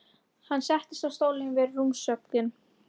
Hann settist á stól við rúmstokkinn.